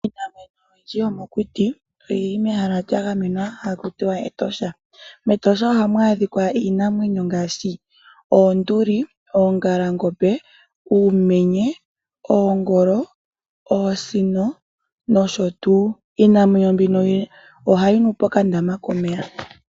Iinamwenyo oyindji yomokuti oyili mehala lyagamenwa hakutiwa Etosha, mEtosha ohamu adhika iinamwenyo ngaashi oonduli, oongalangombe, uumenye, oongolo, oosino nosho tuu, yo iinamwenyo mbino ohayi nu pokandama komeya.